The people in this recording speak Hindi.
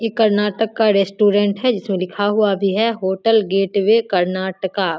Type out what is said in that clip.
इ कर्नाटक का रेस्टोरेंट है जिसमें लिखा हुआ भी है होटल गेट वे कर्नाटका।